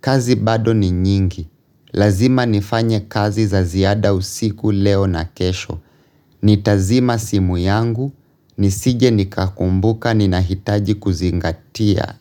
Kazi bado ni nyingi. Lazima nifanye kazi za ziada usiku leo na kesho. Nitazima simu yangu. Nisije nikakumbuka ninahitaji kuzingatia.